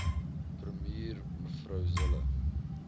premier mev zille